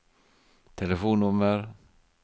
telefonnummer